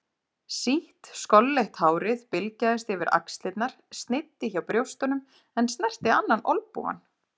Sítt skolleitt hárið bylgjaðist yfir axlirnar, sneiddi hjá brjóstunum en snerti annan olnbogann.